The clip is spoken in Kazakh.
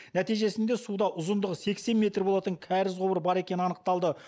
нәтижесінде суда ұзындығы сексен метр болатын кәріз құбыры бар екенін анықтады